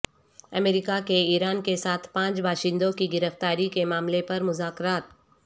امریکہ کے ایران کے ساتھ پانچ باشندوں کی گرفتاری کے معاملے پر مذاکرات